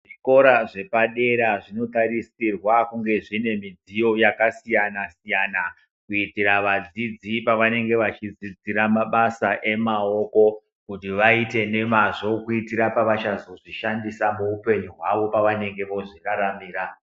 Zvikora zvepadera zvinotarisirwa kunge zvine midziyo yakasiyana siyana kuitira vadzidzi pavanenge vachidzidzira mabasa emaoko kuti vaite nemazvo kuitira pavachazozvishandisa muupenyu hwavo pavanenge vozviraramira.